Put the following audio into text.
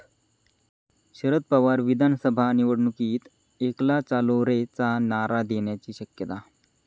शदर पवार विधानसभा निवडणुकीत 'एकला चालो रे'चा नारा देण्याची शक्यता